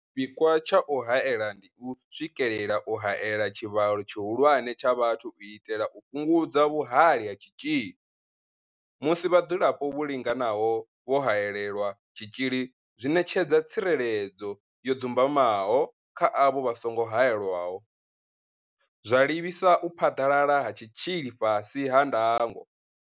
Tshipikwa tsha u haela ndi u swikelela u haela tshivhalo tshihulwane tsha vhathu u itela u fhungudza vhuhali ha tshitzhili, musi vhadzulapo vho linganaho vho haelelwa tshitzhili zwi ṋetshedza tsireledzo yo dzumbamaho kha avho vha songo haelwaho, zwa livhisa u phaḓalala ha tshitzhili fhasi ha ndango.